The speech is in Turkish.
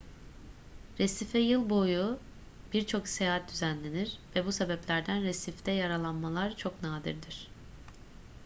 resife yıl boyu birçok seyahat düzenlenir ve bu sebeplerden resifte yaralanmalar çok nadirdir